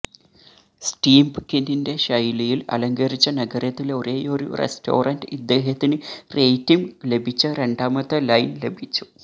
സ്റ്റീമ്പ്കിന്റെ ശൈലിയിൽ അലങ്കരിച്ച നഗരത്തിലെ ഒരേയൊരു റെസ്റ്റോറന്റ് ഇദ്ദേഹത്തിന് റേറ്റിംഗ് ലഭിച്ച രണ്ടാമത്തെ ലൈൻ ലഭിച്ചു